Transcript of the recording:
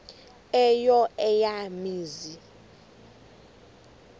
eyo eya mizi